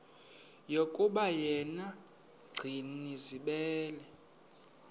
yokuba yena gcinizibele